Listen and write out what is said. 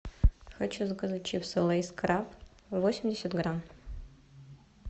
хочу заказать чипсы лейз краб восемьдесят грамм